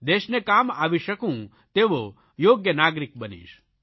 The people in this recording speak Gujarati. દેશને કામ આવી શકું તેવો યોગ્ય નાગરિક બનીશ